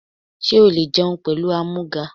Sé o le jẹun pẹ̀lú ámúgà?